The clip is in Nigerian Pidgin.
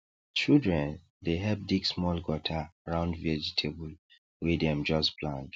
children dey help dig small gutter round vegetable wey dem just plant